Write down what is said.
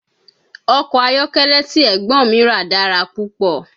Ọkọ̀ ayọ́kẹ́lẹ́ tí Ẹ̀gbọ́n mi rà dára púpọ̀